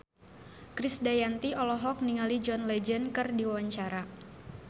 Krisdayanti olohok ningali John Legend keur diwawancara